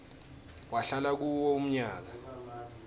wahlala kuwo umnyaka